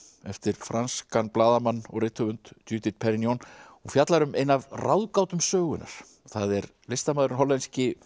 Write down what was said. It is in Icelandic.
eftir franskan blaðamann og rithöfund Judith Perrignon og fjallar um eina af ráðgátum sögunnar það er listamaðurinn hollenski